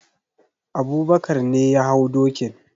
Abubakar ne ya hau dokin.